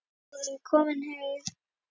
Við vorum komin heim.